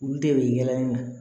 Olu de bɛ yaala